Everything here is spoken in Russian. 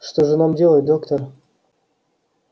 что же нам делать доктор